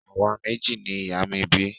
Àwa méjì ni ìyá mi bí